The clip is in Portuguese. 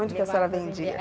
Onde que a senhora vendia?